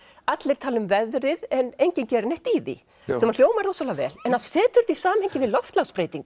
allir tala um veðrið en enginn gerir neitt í því sem að hljómar rosalega vel en ef maður setur þetta í samhengi